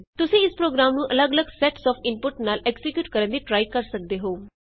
ਤੁਸੀਂ ਇਸ ਪ੍ਰੋਗਰਾਮ ਨੂੰ ਅੱਲਗ ਅੱਲਗ ਸੈਟਸ ਆਫ ਇਨਪੁਟਸ ਨਾਲ ਐਕਜ਼ੀਕਿਯੂਟ ਕਰਨ ਦੀ ਟਰਾਈ ਕਰ ਸਕਦੇ ਹੋ